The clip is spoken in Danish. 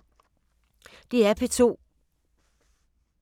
DR P2